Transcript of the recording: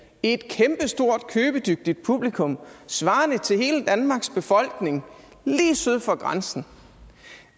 et kæmpestort købedygtigt publikum svarende til hele danmarks befolkning lige syd for grænsen